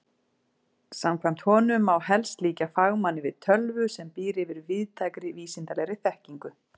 Samkvæmt honum má helst líkja fagmanni við tölvu sem býr yfir víðtækri vísindalegri þekkingu.